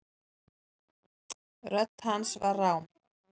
Rödd hans var rám.